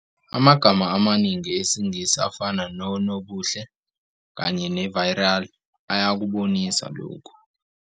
Amagama amaningi esiNgisi afana "nobuhle" kanye ne-"virile" ayakubonisa lokhu.